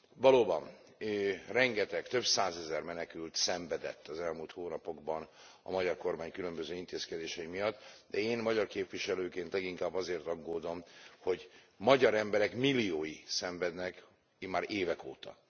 Valóban rengeteg, több százezer menekült szenvedett az elmúlt hónapokban a magyar kormány különböző intézkedései miatt, de én magyar képviselőként leginkább azért aggódom, hogy magyar emberek milliói szenvednek immár évek óta.